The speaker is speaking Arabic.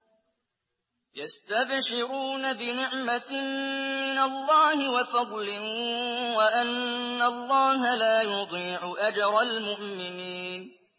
۞ يَسْتَبْشِرُونَ بِنِعْمَةٍ مِّنَ اللَّهِ وَفَضْلٍ وَأَنَّ اللَّهَ لَا يُضِيعُ أَجْرَ الْمُؤْمِنِينَ